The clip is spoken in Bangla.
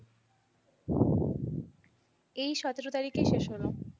এই সতেরো তারিখে শেষ হলো।